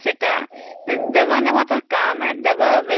ଦେବା ନେବା ତା କାମ